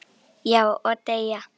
Já, og deyja